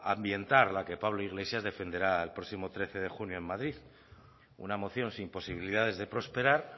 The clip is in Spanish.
ambientar la que pablo iglesias defenderá el próximo trece de junio en madrid una moción sin posibilidades de prosperar